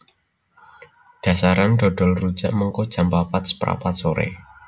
Dasaran dodol rujak mengko jam papat seprapat sore